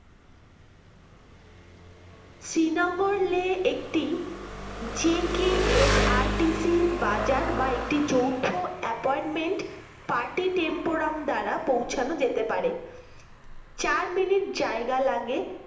শ্রীনগর লে একটি JKSRTC বাজার বা একটি যৌথ apartmentparty temporum দ্বারা পৌছানো যেতে পারে চার মিনিট জায়গা লাগে